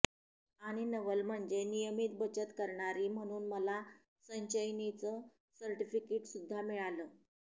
आणि नवल म्हणजे नियमित बचत करणारी म्हणून मला संचयिनीचं सर्टिफिकिट सुद्धा मिळालं